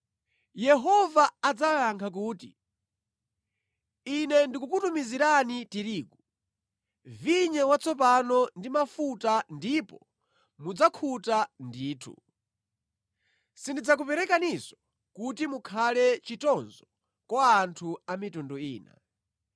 Yehova adzawayankha kuti, “Ine ndikukutumizirani tirigu, vinyo watsopano ndi mafuta ndipo mudzakhuta ndithu; sindidzakuperekaninso kuti mukhale chitonzo kwa anthu a mitundu ina.